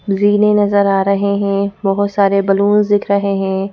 रीलें नजर आ रहे हैं बहुत सारे बलूंस दिख रहे हैं।